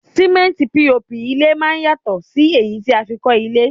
Símẹ́ntì POP ilé máá ń yàtọ̀ sí èyí tí a fi n kọ́ ilé